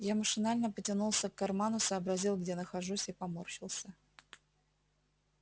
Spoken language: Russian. я машинально потянулся к карману сообразил где нахожусь и поморщился